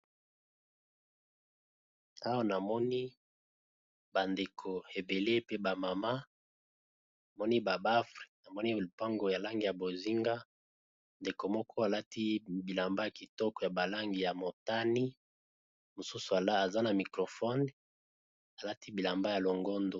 Awa namoni bandeko ebele pe bamama moni babafre namoni balipango ya langi ya bozinga ndeko moko alati bilamba ya kitoko ya balangi ya motani mosusu ala aza na microfone alati bilamba ya longondo.